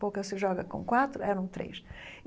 Pouca se joga com quatro, eram três.